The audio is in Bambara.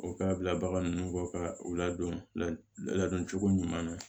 O k'a bila bagan nunnu kɔ ka u ladon ladon cogo ɲuman na